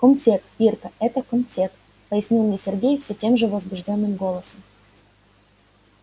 комтек ирка это комтек пояснил мне сергей всё тем же возбуждённым голосом